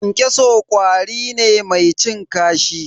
Kyankyaso ƙwari ne mai cin kashi.